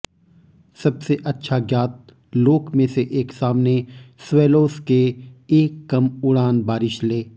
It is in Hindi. सबसे अच्छा ज्ञात लोक में से एक सामने स्वैलोज़ के एक कम उड़ान बारिश ले